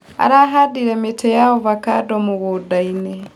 Arahandire mĩtĩ ya avocando mũgũndainĩ.